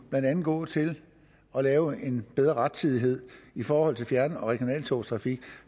gå til at lave en bedre rettidighed i forhold til fjern og regionaltogstrafik